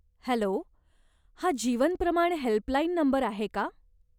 Hello! हा Jeevan Pramaan helpline number आहे का?